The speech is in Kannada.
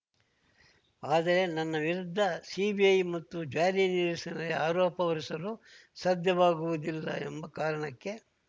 ಆದರೆ ನನ್ನ ವಿರುದ್ಧ ಸಿಬಿಐ ಮತ್ತು ಜಾರಿ ನಿರ್ದೇಶನಾಲಯ ಆರೋಪ ಹೊರಿಸಲು ಸಾಧ್ಯವಾಗುವುದಿಲ್ಲ ಎಂಬ ಕಾರಣಕ್ಕೆ